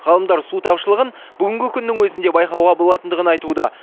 ғалымдар су тапшылығын бүгінгі күннің өзінде байқауға болатындығын айтуда